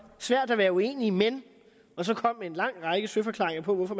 svært at være uenig men så kom der en lang række søforklaringer på hvorfor